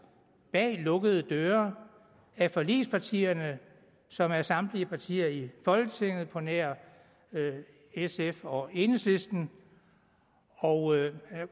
bag lukkede døre af forligspartierne som er samtlige partier i folketinget på nær sf og enhedslisten og jeg